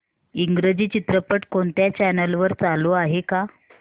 इंग्रजी चित्रपट कोणत्या चॅनल वर चालू आहे का